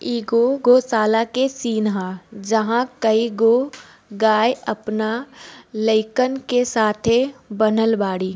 एगो गोशाला के सिन हअ जहां कईगो गाय अपना लइकन के साथे बानहल बाड़ी।